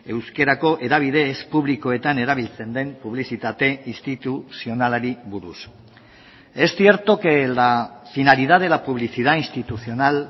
euskarako hedabide ez publikoetan erabiltzen den publizitate instituzionalari buruz es cierto que la finalidad de la publicidad institucional